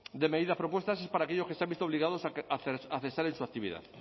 de medidas propuestas es para aquellos que se han visto obligados a cesar en su actividad